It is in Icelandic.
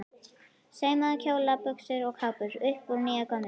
Saumaði kjóla, buxur og kápur upp úr nýju og gömlu.